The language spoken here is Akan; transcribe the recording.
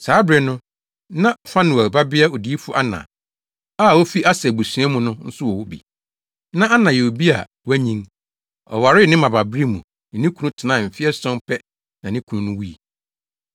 Saa bere no, na Fanuel babea odiyifo Ana a ofi Aser abusua mu no nso wɔ hɔ bi. Na Ana yɛ obi a wanyin. Ɔwaree ne mmabaabere mu ne ne kunu tenae mfe ason pɛ na ne kunu no wui.